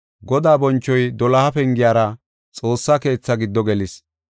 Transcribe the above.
Godaa bonchoy doloha pengiyara Xoossaa keethaa giddo gelis.